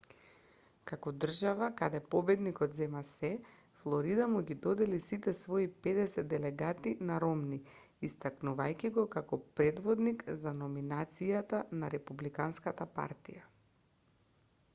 како држава каде победникот зема сѐ флорида му ги додели сите свои педесет делегати на ромни истакнувајќи го како предводник за номинацијата на републиканската партија